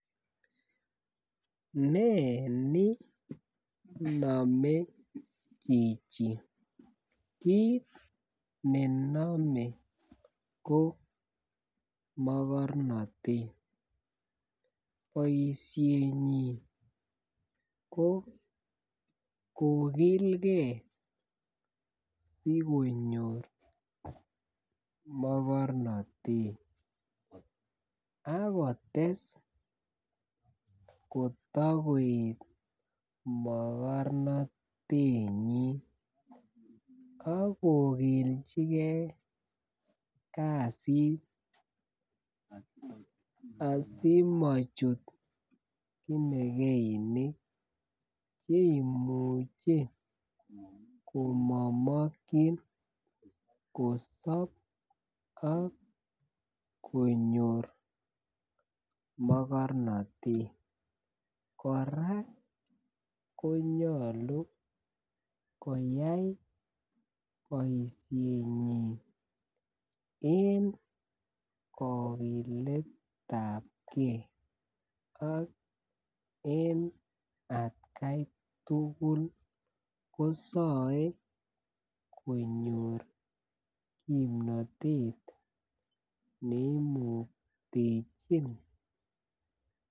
Nee nii nome chichi kit nenome ko mokornotet boishenyinnii ko kokilegee sikonyor mokornotet akotes kotakoet mokornotenyin ak kokiljigee kasit asimochut kimekeinik cheimuche komomokin kosob ak konyor mokornotet. Koraa konyolu koyai boishenyin en kokiletabgee ak en atgai tukul kosir konyor kimnotet neimuktechin.